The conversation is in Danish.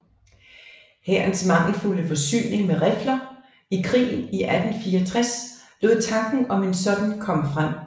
Hærens mangelfulde forsyning med rifler i krigen 1864 lod tanken om en sådan komme frem